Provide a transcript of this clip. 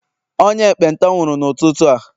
onye ekpenta nwuru n'ututu a